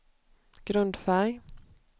grundfärg